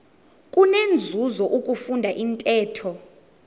kunenzuzo ukufunda intetho